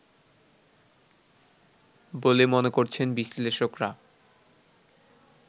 বলে মনে করছেন বিশ্লেষকরা